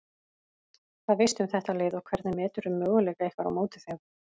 Hvað veistu um þetta lið og hvernig meturðu möguleika ykkar á móti þeim?